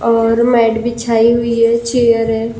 और मैट बिछाई हुई है चेयर है।